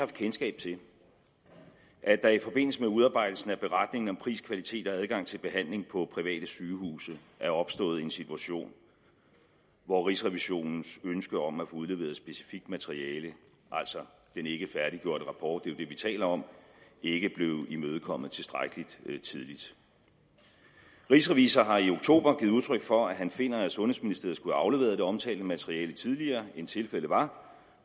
kendskab til at der i forbindelse med udarbejdelsen af beretningen om pris kvalitet og adgang til behandling på private sygehuse er opstået en situation hvor rigsrevisionens ønske om at få udleveret specifikt materiale altså den ikke færdiggjorte rapport det er vi taler om ikke blev imødekommet tilstrækkelig tidligt rigsrevisor har i oktober givet udtryk for at han finder at sundhedsministeriet skulle have afleveret det omtalte materiale tidligere end tilfældet var